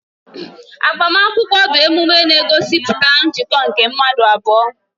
Agbamakwụkwọ bụ emume na-egosipụta njikọ nke mmadụ abụọ